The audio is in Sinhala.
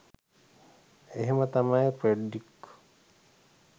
එහෙම තමයි ෆ්‍රෙඩ්‍රික්